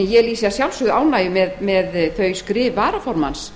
en ég lýsi að sjálfsögðu ánægju með skrif varaformanns